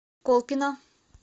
колпино